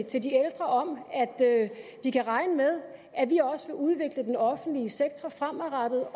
til de ældre om at de kan regne med at vi også vil udvikle den offentlige sektor fremadrettet